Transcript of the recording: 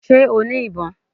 Sé o ní ìbọn?